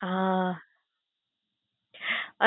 હા